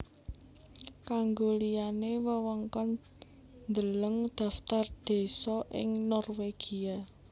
Kanggo liyane wewengkon Deleng Dhaftar désa ing Norwegia